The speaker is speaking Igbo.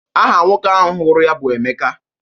Aha nwoke ahụ hụrụ ya bụ Emeka.